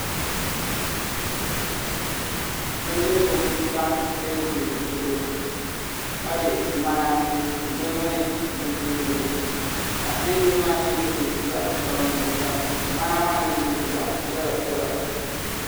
Bindirigu n tam teebuli zuɣu ka bɛ ŋmana ni di mini bunnyurili ka tewbuli maa nyɛ din nyɛ zaɣ sabinli ka ŋmana maa nyɛ din nyɛ zaɣ piɛla piɛla